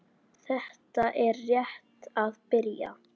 Þetta er rétt að byrja